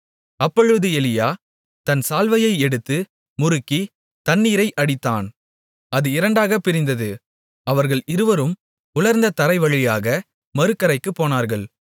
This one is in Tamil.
அப்பொழுது எலியா தன் சால்வையை எடுத்து முறுக்கித் தண்ணீரை அடித்தான் அது இரண்டாகப் பிரிந்தது அவர்கள் இருவரும் உலர்ந்த தரைவழியாக மறுகரைக்குப் போனார்கள்